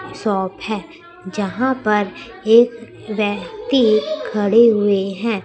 Shop है यहां पर एक व्यक्ति खड़े हुए हैं।